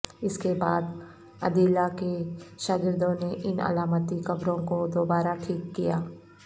اس کے بعد عدیلہ کے شاگردوں نے ان علامتی قبروں کو دوبارہ ٹھیک کیا